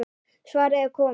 Svarið er komið.